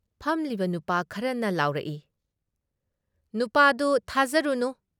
ꯐꯝꯂꯤꯕ ꯅꯨꯄꯥ ꯈꯔꯅ ꯂꯥꯎꯔꯛꯏ "ꯅꯨꯄꯥꯗꯨ ꯊꯥꯖꯔꯨꯅꯨ ꯫